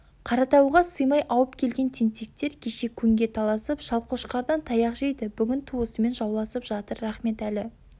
қаратауға сыймай ауып келген тентектер кеше көңге таласып шалқошқардан таяқ жейді бүгін туысымен жауласып жатыр рахметәлі